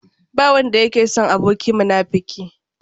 Ba wanda yake son aboki munafuki.